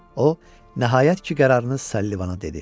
O, nəhayət ki, qərarını Sullivana dedi.